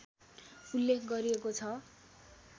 उल्लेख गरिएको छ